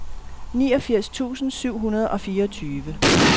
niogfirs tusind syv hundrede og fireogtyve